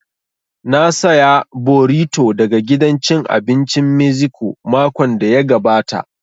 Na saya borito daga gidan cin abincin meziko makon da ya gabata